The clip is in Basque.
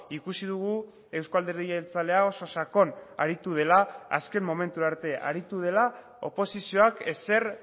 ikusi dugu euzko alderdi jeltzalea oso sakon aritu dela azken momentu arte aritu dela oposizioak ezer